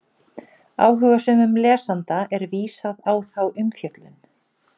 Áhugasömum lesanda er vísað á þá umfjöllun.